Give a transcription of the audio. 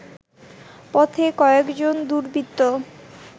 পথে কয়েকজন দুর্বৃত্ত